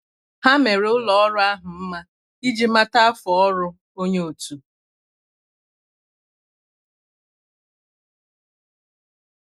há mèrè ụ́lọ́ ọ́rụ́ ahụ́ mma iji màtá áfọ́ ọ́rụ́ onye otu.